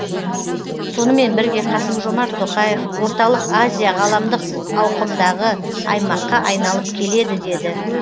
сонымен бірге қасым жомарт тоқаев орталық азия ғаламдық ауқымдағы аймаққа айналып келеді деді